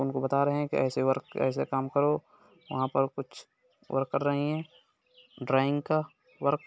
उनको बता रहे हैं ऐसे वर्क ऐसे काम करो| वहाँ पे कुछ वर्क कर रहे हैं ड्रॉइंग का वर्क |